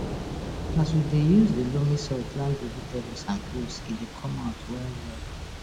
as we dey use the loamy soil plant vegetables and fruits e dey come out well well